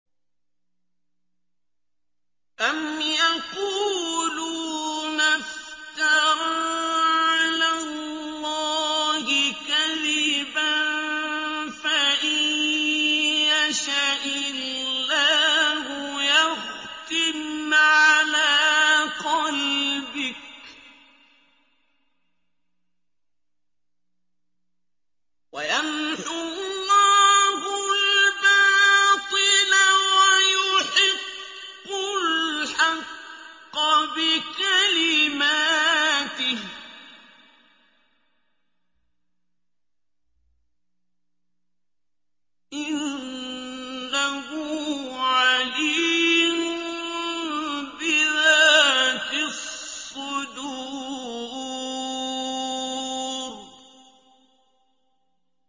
أَمْ يَقُولُونَ افْتَرَىٰ عَلَى اللَّهِ كَذِبًا ۖ فَإِن يَشَإِ اللَّهُ يَخْتِمْ عَلَىٰ قَلْبِكَ ۗ وَيَمْحُ اللَّهُ الْبَاطِلَ وَيُحِقُّ الْحَقَّ بِكَلِمَاتِهِ ۚ إِنَّهُ عَلِيمٌ بِذَاتِ الصُّدُورِ